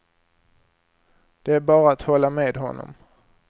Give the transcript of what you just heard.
Det är bara att hålla med honom.